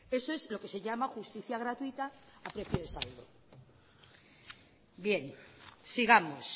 eso es lo que se llama justicia gratuita a precio de saldo sigamos